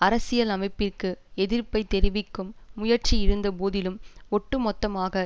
அரசியல் அமைப்பிற்கு எதிர்ப்பை தெரிவிக்கும் முயற்சி இருந்தபோதிலும் ஒட்டுமொத்தமாக